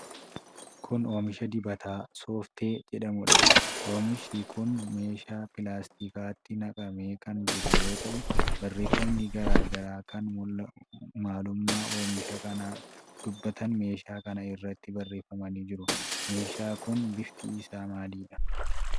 Kun oomisha dibataa 'Sooftee' jedhamuudha. Oomishi kun meeshaaa pilaastikaatti naqamee kan jiru yoo ta'u, barreeffamni garaa garaa kan maalummaa oomisha kanaa dubbatana meeshaa kana irratti barreeffamanii jiru. Meeshaa kun bifti isaa maalidha?